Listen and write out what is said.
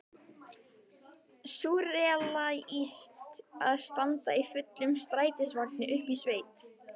Súrrealískt að standa í fullum strætisvagni uppi í sveit!